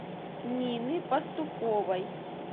нины пастуховой